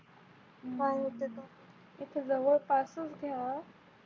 जवळपासच घ्या